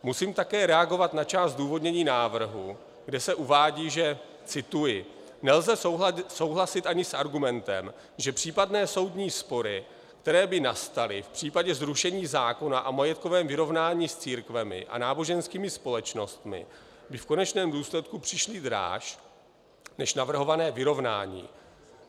Musím také reagovat na část zdůvodnění návrhu, kde se uvádí, že - cituji: "Nelze souhlasit ani s argumentem, že případné soudní spory, které by nastaly v případě zrušení zákona o majetkovém vyrovnání s církvemi a náboženskými společnostmi, by v konečném důsledku přišly dráž než navrhované vyrovnání.